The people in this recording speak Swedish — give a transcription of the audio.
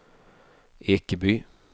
Ekeby